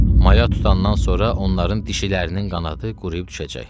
Maya tutandan sonra onların dişilərinin qanadı quruyub düşəcək.